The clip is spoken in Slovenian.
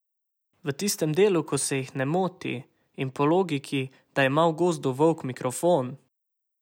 V tistem delu, ko se jih ne moti in po logiki, da ima v gozdu volk mikrofon!